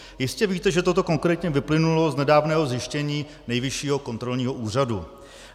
Jistě víte, že toto konkrétně vyplynulo z nedávného zjištění Nejvyššího kontrolního úřadu.